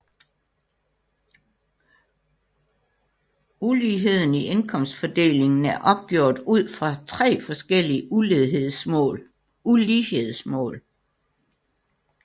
Uligheden i indkomstfordelingen er opgjort ud fra tre forskellige ulighedsmål